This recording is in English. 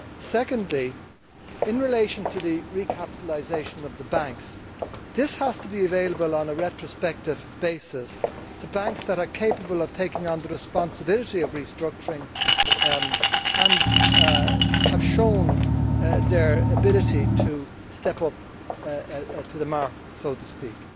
Secondly, in relation to the recapitalisation of the banks, this has to be available on a retrospective basis to banks that are capable of taking on the responsibility of restructuring and have shown their ability to step up to the mark, so to speak.